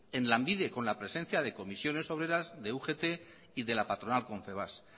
en lanbide con la presencia de comisiones obreras de ugt y de la patronal confebask